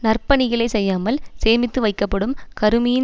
நற்பணிகளை செய்யாமல் சேமித்து வைக்கப்படும் கருமியின்